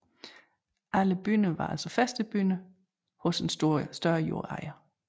Alle bønder var altså fæstebønder hos en større jordejer